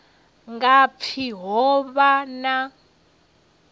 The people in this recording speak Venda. nga pfi ho vha na